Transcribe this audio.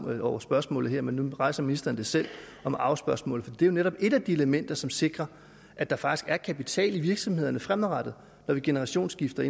ud over spørgsmålet her men nu rejser ministeren selv det om arvespørgsmålet og det er jo netop et af de elementer som sikrer at der faktisk er kapital i virksomhederne fremadrettet når man generationsskifter